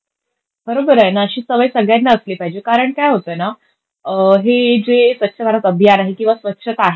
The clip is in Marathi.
बरोबरये. अशी सवय सगळ्यांना असली पाहिजे कारण काय होतंय ना, ही जे स्वच्छ भारत अभियान आहे किंवा स्वच्छता आहे,